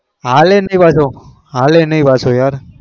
ચાલે નહિ પાછો ચાલે નહિ પાછો યાર